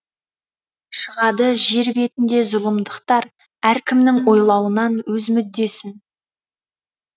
шығады жер беінде зұлымдықтар әркімнің ойлауынан өз мүддесін